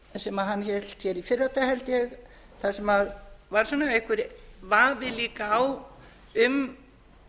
sem hann hélt hér í fyrradag held ég þar sem var einhver vafi líka á um